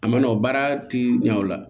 A ma nɔgɔn baara ti ɲɛ o la